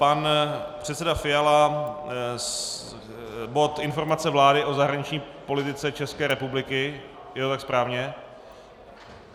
Pan předseda Fiala - bod Informace vlády o zahraniční politice České republiky - je to tak správně?